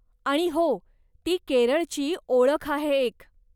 आणि हो, ती केरळची ओळख आहे एक.